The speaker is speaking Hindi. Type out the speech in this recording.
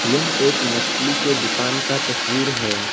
यह एक मछली के दुकान का तस्वीर है।